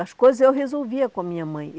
As coisas eu resolvia com a minha mãe.